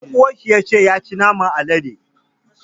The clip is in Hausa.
Ɗan uwan shi ya ce ya ci naman alade.